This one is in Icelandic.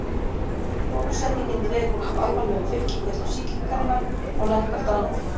Bólusetningin dregur úr alvarlegum fylgikvillum sýkingarinnar og lækkar dánartíðni.